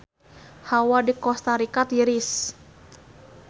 Hawa di Kosta Rika tiris